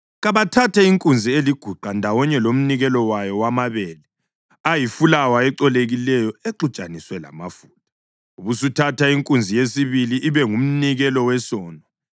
Kabathathe inkunzi eliguqa ndawonye lomnikelo wayo wamabele ayifulawa ecolekileyo exutshaniswe lamafutha; ubusuthatha inkunzi yesibili ibe ngumnikelo wesono.